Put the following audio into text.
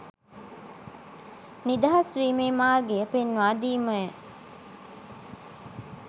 නිදහස් වීමේ මාර්ගය පෙන්වාදීමය.